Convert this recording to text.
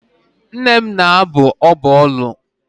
Nne m na-abụ ọbụ olu.